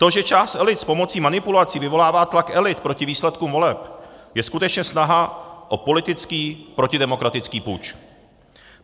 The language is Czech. To, že část elit s pomocí manipulací vyvolává tlak elit proti výsledkům voleb, je skutečně snaha o politický protidemokratický puč.